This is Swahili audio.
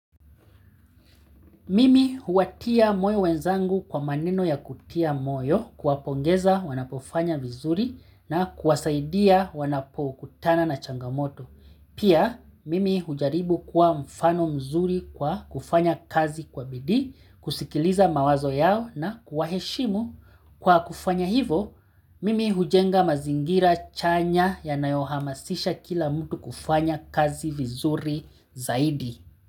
Mimi huwatia moyo wenzangu kwa maneno ya kutia moyo kuwapongeza wanapofanya vizuri na kuwasaidia wanapokutana na changamoto. Pia, mimi hujaribu kuwa mfano mzuri kwa kufanya kazi kwa bidii, kusikiliza mawazo yao na kuwaheshimu kwa kufanya hivo, mimi hujenga mazingira chanya yanayohamasisha kila mtu kufanya kazi vizuri zaidi.